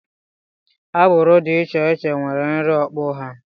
Agbụrụ dị iche iche nwere nri okpu ha